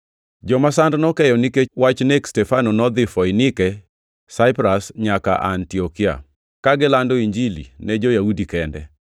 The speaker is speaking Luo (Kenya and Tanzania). Joma sand nokeyo nikech wach nek Stefano nodhi Foinike, Saipras nyaka Antiokia, ka gilando Injili ne jo-Yahudi kende.